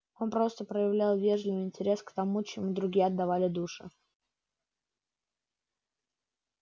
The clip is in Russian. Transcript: он просто проявлял вежливый интерес к тому чему другие отдавали душу